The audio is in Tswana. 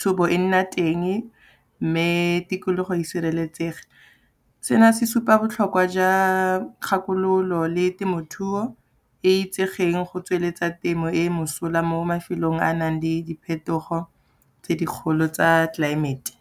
thobo e nna teng mme tikologo e sireletsege. Sena se supa botlhokwa jwa kgakololo le temothuo e itsegeng go tsweletsa temo e mosola mo mafelong a nang le diphetogo tse dikgolo tsa tlelaemete.